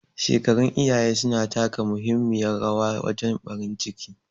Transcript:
Shekarun iyaye suna taka muhimmiyar rawa wajen ɓarin ciki